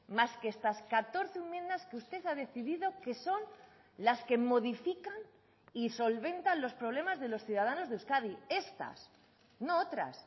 más que estas catorce enmiendas que usted ha decidido que son las que modifican y solventan los problemas de los ciudadanos de euskadi estas no otras